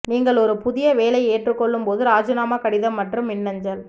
நீங்கள் ஒரு புதிய வேலை ஏற்றுக்கொள்ளும் போது ராஜினாமா கடிதம் மற்றும் மின்னஞ்சல்